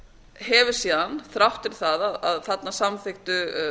hefur síðan þrátt fyrir það að þarna samþykktu